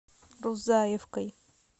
рузаевкой